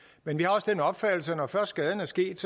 men vi har også den opfattelse at når først skaden er sket